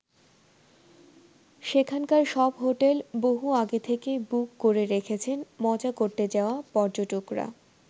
সেখানকার সব হোটেল বহু আগে থেকেই বুক করে রেখেছেন মজা করতে যাওয়া পর্যটকরা।